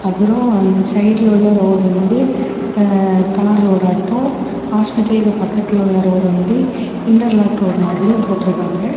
அப்றோம் அந்த சைடுல உள்ள ரோடு வந்து அ தார் ரோடாட்டோ ஹாஸ்பிடலுக்கு பக்கத்தில உள்ள ரோடு வந்து இன்டர்லாக் ரோடு மாதிரியு போட்டிர்க்காங்கா.